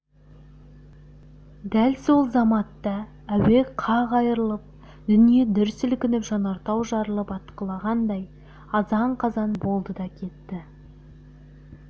дәл сол заматта әуе қақ айырылып дүние дүр сілкініп жанартау жарылып атқылағандай азан-қазан болды да кетті